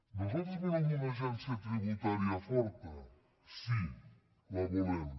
nosaltres volem una agència tributària forta sí la volem